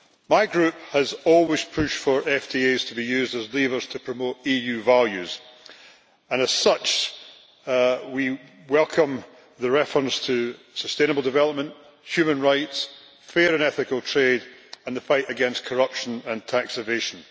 My group has always pushed for FTAs to be used as levers to promote EU values, and as such we welcome the reference to sustainable development, human rights, fair and ethical trade and the fight against corruption and tax evasion.